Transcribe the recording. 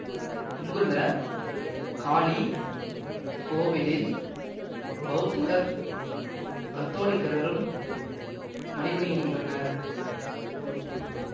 இங்குள்ள காளி கோவிலில் பௌத்தர் கத்தோலிக்கர்களும் வழிபடுகின்றனர்